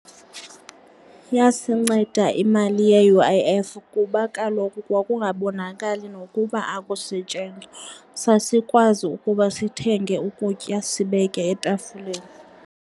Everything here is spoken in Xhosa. Yasinceda imali ye-U_I _F kuba kaloku kwakungabonakali nokuba akusetshenzwa, sasikwazi ukuba sithenge ukutya sibeke etafileni.